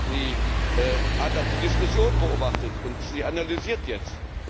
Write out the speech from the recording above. Sie hat auch die Diskussion beobachtet, und sie analysiert jetzt.